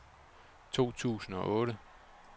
to tusind og otte